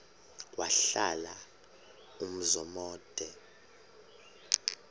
wahlala umzum omde